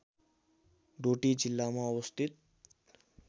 डोटी जिल्लामा अवस्थित